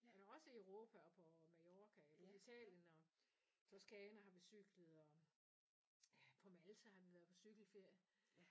Også i Europa og på Mallorca Italien og i Toskana har vi cyklet og ja på Malta har vi været på cýkelferie